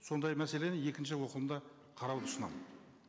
сондай мәселені екінші оқылымда қарауды ұсынамын